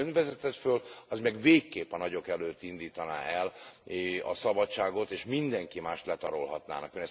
Amit Ön vezetett föl, az meg végképp a nagyok előtt indítaná el a szabadságot, és mindenki mást letarolhatnának.